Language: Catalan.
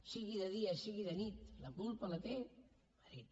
sigui de dia sigui de nit la culpa la té madrid